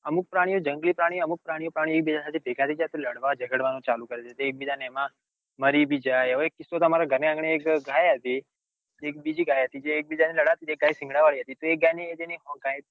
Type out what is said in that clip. અમુક પ્રાણીઓ જંગલી પ્રાણીઓ અમુક પ્રાણીઓ ભેગા થઇ જાય તો લઢવા જગાડવાનું ચાલુ કરે છે તે એકબીજા ને એમાં મરી બી જાય હવે એક કિસ્સો અમર ઘર ની આંગણે એક ઘાય હતી કે એક બીજી ઘાય હતી તે એક બીજા ને લડાવતી હતી તે ઘાય સિંગાડા વળી હતી તે એ ઘાય ને જેને